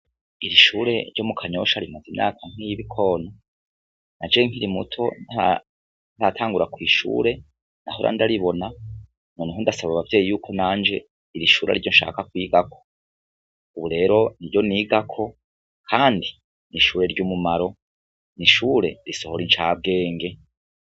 Irishure ryo mu kanyosha rimaze imyaka nkiy'ibikono na je nkiri muto ntatangura kwishure na hora ndaribona none houndasaba abavyeyi yuko nanje irishura ryo nshaka kwigako, ubu rero ni ryo nigako, kandi nishure ry'umumaro ni ishure risohora incabwee enge.